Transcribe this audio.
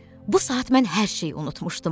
Bu saat mən hər şeyi unutmuşdum.